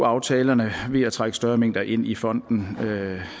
aftalerne ved at trække større mængder ind i fonden